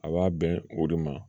A b'a bɛn o de ma